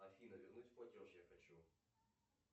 афина вернуть платеж я хочу